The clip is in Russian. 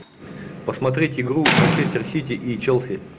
посмотреть игру манчестер сити и челси